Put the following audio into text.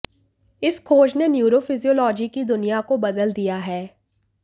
इस खोज ने न्यूरोफिजियोलॉजी की दुनिया को बदल दिया है